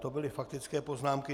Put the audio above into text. To byly faktické poznámky.